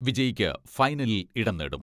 വിജയിക്ക് ഫൈനലിൽ ഇടം നേടും.